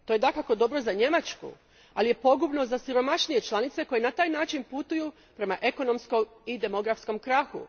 To je dakako dobro za Njemačku, ali je pogubno za siromašnije članice koje na taj način putuju prema ekonomskom i demografskom krahu.